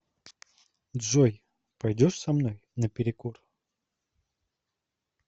джой пойдешь со мной на перекур